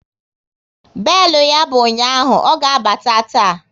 Belu ya bụ ụnyaahụ, ọ ga abata taa